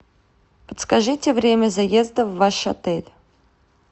подскажите время заезда в ваш отель